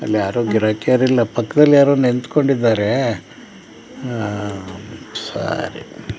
ಅಲ್ಲಿ ಯಾರು ಗಿರಾಕಿ ಇಲ್ಲ ಪಕ್ಕದಲ್ಲಿ ಯಾರೋ ನಿಂತುಕೊಂಡಿದ್ದಾರೆ ಅಹ್ ಅಹ್ ಅಹ್ ಸೊ --